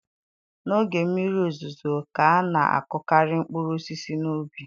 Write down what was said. N'oge mmiri ozuzo ka a na-akụkarị mkpụrụ osisi n'ubi